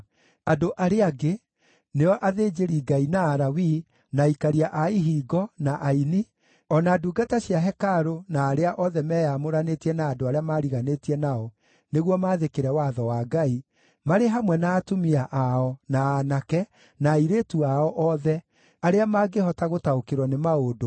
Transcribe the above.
“Andũ arĩa angĩ, nĩo athĩnjĩri-Ngai, na Alawii, na aikaria a ihingo, na aini, o na ndungata cia hekarũ na arĩa othe meyamũranĩtie na andũ arĩa maariganĩtie nao nĩguo maathĩkĩre Watho wa Ngai, marĩ hamwe na atumia ao, na aanake, na airĩtu ao othe arĩa mangĩhota gũtaũkĩrwo nĩ maũndũ,